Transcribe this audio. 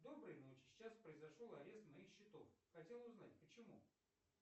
доброй ночи сейчас произошел арест моих счетов хотел узнать почему